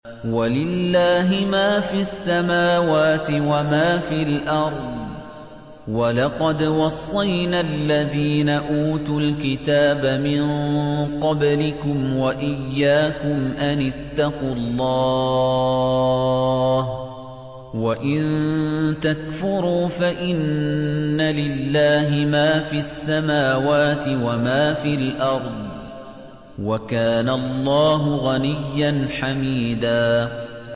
وَلِلَّهِ مَا فِي السَّمَاوَاتِ وَمَا فِي الْأَرْضِ ۗ وَلَقَدْ وَصَّيْنَا الَّذِينَ أُوتُوا الْكِتَابَ مِن قَبْلِكُمْ وَإِيَّاكُمْ أَنِ اتَّقُوا اللَّهَ ۚ وَإِن تَكْفُرُوا فَإِنَّ لِلَّهِ مَا فِي السَّمَاوَاتِ وَمَا فِي الْأَرْضِ ۚ وَكَانَ اللَّهُ غَنِيًّا حَمِيدًا